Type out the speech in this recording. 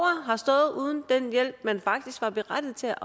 har stået uden den hjælp man faktisk er berettiget til